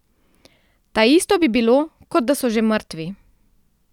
Taisto bi bilo, kot da so že mrtvi.